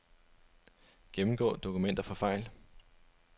Gennemgå dokumenter for fejl.